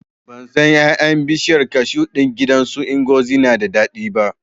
Ban san ƴaƴan bishiyar kashu ɗin gidan su Ngozi na da daɗi ba